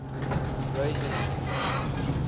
rosseline